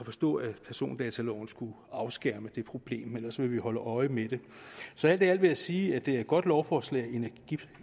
forstå at persondataloven skulle afskærme det problem ellers vil vi holde øje med det så alt i alt vil jeg sige at det er et godt lovforslag